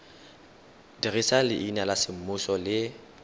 dirisa leina la semmuso le